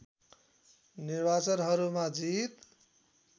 निर्वाचनहरूमा जित